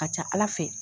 A ka ca ala fɛ